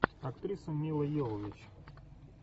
актриса мила йовович